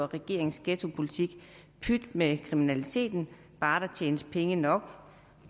regeringens ghettopolitik pyt med kriminaliteten bare der tjenes penge nok